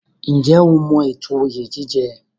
Ǹjẹ́ o mọ ètò oyè jíjẹ?